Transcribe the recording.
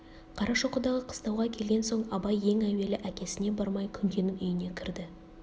қарашоқыдағы қыстауға келген соң абай ең әуелі әкесіне бармай күнкенің үйіне кірді